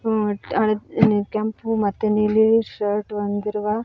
ಅ ಕೆಂಪು ಮತ್ತು ನೀಲಿ ಶರ್ಟ್ ಹೊಂದಿರುವ--